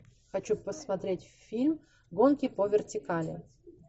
хочу посмотреть фильм гонки по вертикали